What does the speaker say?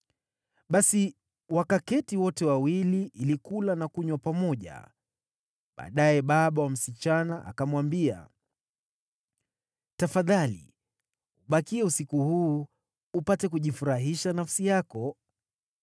Basi wakaketi wote wawili ili kula na kunywa pamoja. Baadaye baba wa msichana akamwambia, “Tafadhali ubakie usiku huu upate kujifurahisha nafsi yako.”